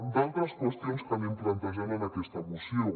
d’altres qüestions que anem plantejant en aquesta moció